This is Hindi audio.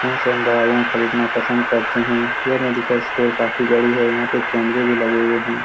यहाँ से हम दवाइयाँ खरीदना पसंद करते हैं। यह मेडिकल स्टोर काफी बड़ी है। यहाँ पे कैमरे भी लगे हुए हैं।